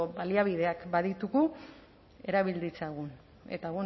baliabideak baditugu erabil ditzagun eta